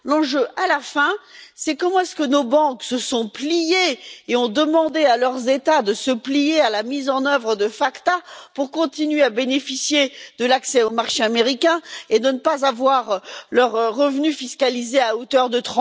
L'enjeu, à la fin, c'est comment est ce que nos banques se sont pliées et ont demandé à leurs États de se plier à la mise en œuvre de la loi FACTA pour continuer à bénéficier de l'accès au marché américain et ne pas voir leurs revenus taxés à hauteur de